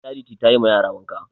Charity tayi ma yara wanka